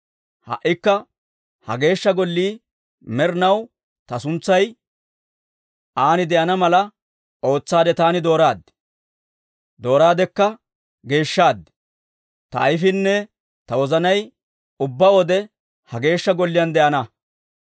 Ha"ikka ha Geeshsha Gollii med'inaw ta suntsay an de'ana mala ootsaade taani dooraad; dooraadekka geeshshaad. Ta ayfiinne ta wozanay ubbaa wode ha Geeshsha Golliyaan de'ana.